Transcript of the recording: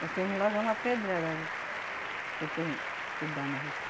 Porque vem logo é uma pedrada que tem que dar nos outros.